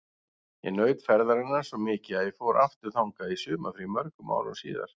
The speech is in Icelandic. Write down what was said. Ég naut ferðarinnar svo mikið að ég fór aftur þangað í sumarfrí mörgum árum síðar.